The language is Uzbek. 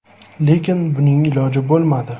Lekin buning iloji bo‘lmadi.